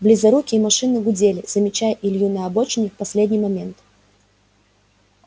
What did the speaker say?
близорукие машины гудели замечая илью на обочине в последний момент